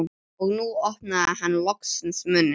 Og nú opnaði hann loksins munninn.